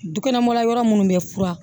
Dukɛnɛma yɔrɔ munnu bɛ fura